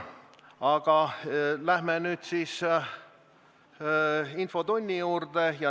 Aga läheme nüüd infotunni juurde.